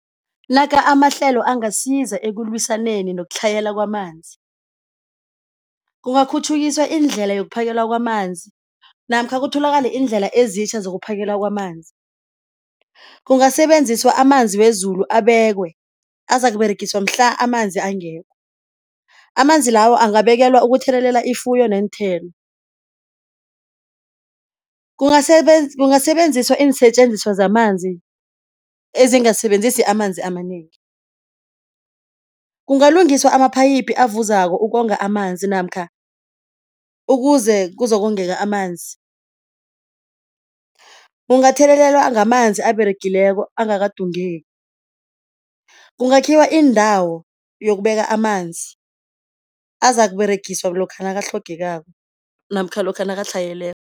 Naka amahlelo angasiza ekulwisaneni nokutlhayela kwamanzi. Kungakhutjhukiswa iindlela yokuphakelwa kwamanzi namkha kutholakale iindlela ezitjha zokuphakela kwamanzi, kungasebenziswa amanzi wezulu abekwe azakUberegiswa mhla amanzi angekho amanzi lawo angabekelwa ukuthelelela ifuyo neenthelo. Kungasebenziswa iinsetjenziswa zamanzi ezingasebenzisi amanzi amanengi, kungalungiswa amaphayiphu avuzako ukonga amanzi namkha ukuze kuzokongeka amanzi. Kungathelelelwa ngamanzi aberegileko angakadungeki. Kungakhiwa indawo yokubeka amanzi azakUberegiswa lokha nakatlhogekako namkha lokha nakatlhayeleko.